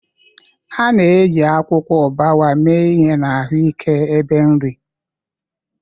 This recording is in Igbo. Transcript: A na-eji akwụkwọ ubwa mee ihe na ahụike ebe nri.